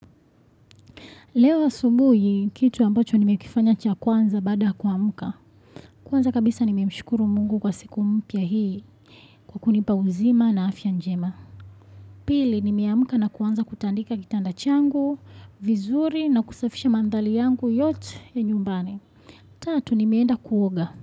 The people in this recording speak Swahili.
Leo asubuhi kitu ambacho nimekifanya cha kwanza baada kuamka. Kwanza kabisa nime mshukuru Mungu kwa siku mpya hii kwa kunipa uzima na afya njema. Pili nimeamka na kuanza kutandika kitanda changu vizuri na kusafisha maandhari yangu yote ya nyumbani. Tatu nimeenda kuoga.